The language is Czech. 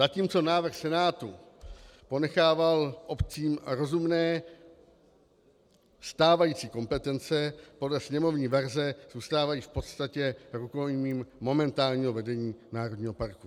Zatímco návrh Senátu ponechával obcím rozumné stávající kompetence, podle sněmovní verze zůstávají v podstatě rukojmím momentálního vedení národního parku.